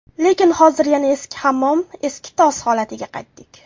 Lekin hozir yana eski hammom, eski tos holatiga qaytdik.